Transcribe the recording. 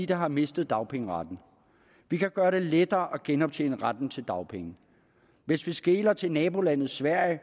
der har mistet dagpengeretten vi kan gøre det lettere at genoptjene retten til dagpenge hvis vi skeler til nabolandet sverige